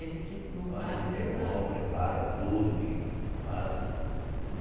Eles que montaram tudo a A é vão preparam tudo e fazem.